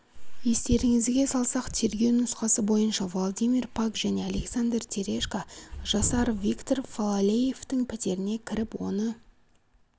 естеріңізге салсақ тергеу нұсқасы бойынша владимир пак және александр терешко жасар виктор фалалеевтың пәтеріне кіріп оны